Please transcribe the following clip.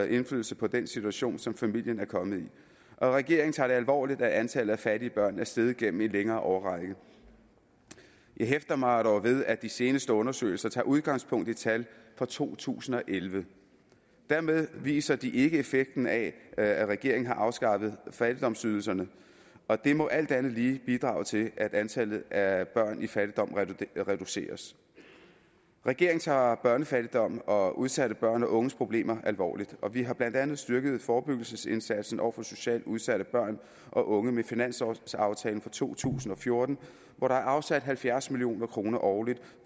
indflydelse på den situation som familien er kommet i og regeringen tager det alvorligt at antallet af fattige børn er steget gennem en længere årrække jeg hæfter mig dog ved at de seneste undersøgelser tager udgangspunkt i tal fra to tusind og elleve dermed viser de ikke effekten af at regeringen har afskaffet fattigdomsydelserne og det må alt andet lige bidrage til at antallet af børn i fattigdom reduceres regeringen tager børnefattigdom og udsatte børn og unges problemer alvorligt og vi har blandt andet styrket forebyggelsesindsatsen over for socialt udsatte børn og unge med finanslovsaftalen for to tusind og fjorten hvor der er afsat halvfjerds million kroner årligt